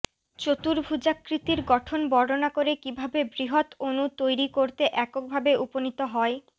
চতুর্ভুজাকৃতির গঠন বর্ণনা করে কিভাবে বৃহদ অণু তৈরি করতে এককভাবে উপনীত হয়